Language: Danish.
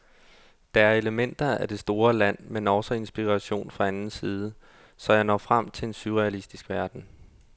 Der er elementer af det store land, men også inspiration fra anden side, så jeg når frem til en surrealistisk verden.